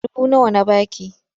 Duba nawa na ba ki!